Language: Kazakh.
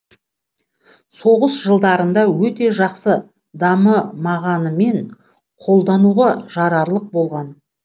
соғыс жылдарында өте жақсы дамымағанымен қолдануға жарарлық болған